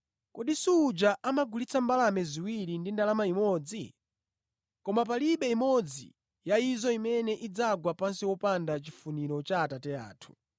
Kodi suja amagulitsa mbalame ziwiri ndi ndalama imodzi? Koma palibe imodzi ya izo imene idzagwa pansi wopanda chifuniro cha Atate anu.